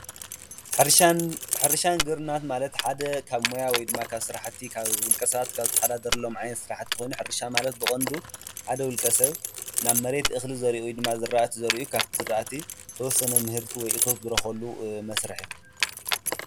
ሕርሻን ግብርናን ማለት ሓደ ካብ ሞያ ካብ ስራሕቲ ውልቀ ሰባት ዝተሕዳደርሎም ዓይነት ስራሕ ኮይኑሕርሻ ማለት ብቀንዱ ሓደ ዉልቀ ሰብ ናብ መሬት እኽሊ ዘሪኡ ካብቲ ዝራእቲ ተወሰነ ምህርቲ ወይ አቶት ዝረክበሉ መስርሕ እዩ።